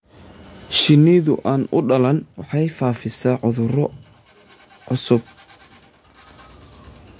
Shinnida aan u dhalan waxay faafisaa cudurro cusub.